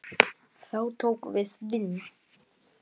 Þá tók við vinna.